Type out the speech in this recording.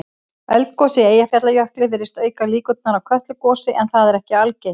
Eldgos í Eyjafjallajökli virðist auka líkur á Kötlugosi en það er ekki algilt.